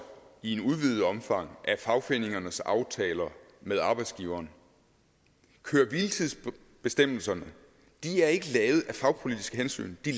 i et udvidet omfang af fagforeningernes aftaler med arbejdsgiverne køre hvile tids bestemmelserne er ikke lavet af fagpolitiske hensyn de